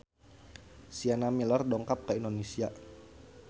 Sienna Miller dongkap ka Indonesia